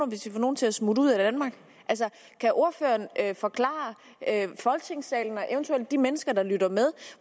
hvis de får nogen til at smutte ud af danmark kan ordføreren forklare folketingssalen og eventuelt de mennesker der lytter med